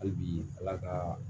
Hali bi ala ka